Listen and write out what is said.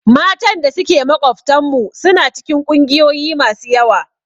Matan da suke makwabtanmu suna cikin ƙungiyoyi masu yawa.